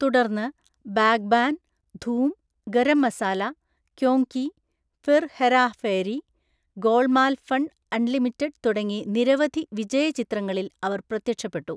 തുടർന്ന്, Baghban, Dhoom, Garam Masala, Kyon Ki, Phir Hera Pheri, Golmaal fun unlimited തുടങ്ങി നിരവധി വിജയ ചിത്രങ്ങളിൽ അവർ പ്രത്യക്ഷപ്പെട്ടു.